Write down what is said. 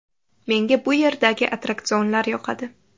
Menga bu yerdagi attraksionlar yoqadi.